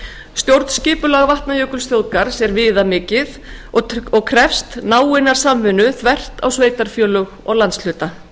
stjórnskipulag vatnajökulsþjóðgarðs er viðamikið og krefst náinnar samvinnu þvert á sveitarfélög og landshluta